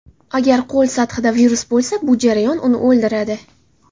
Agar qo‘l sathida virus bo‘lsa, bu jarayon uni o‘ldiradi.